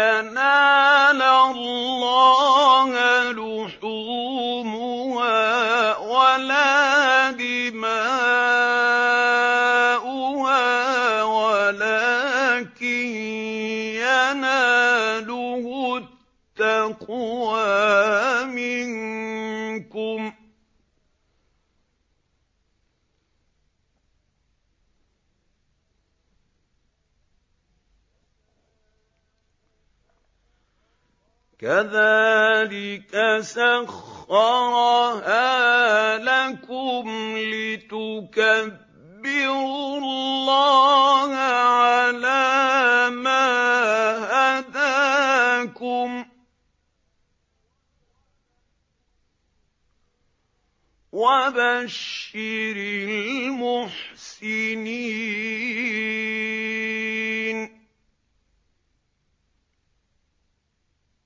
يَنَالَ اللَّهَ لُحُومُهَا وَلَا دِمَاؤُهَا وَلَٰكِن يَنَالُهُ التَّقْوَىٰ مِنكُمْ ۚ كَذَٰلِكَ سَخَّرَهَا لَكُمْ لِتُكَبِّرُوا اللَّهَ عَلَىٰ مَا هَدَاكُمْ ۗ وَبَشِّرِ الْمُحْسِنِينَ